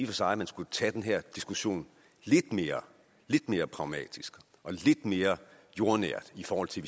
for sig man skulle tage den her diskussion lidt mere mere pragmatisk og lidt mere jordnært i forhold til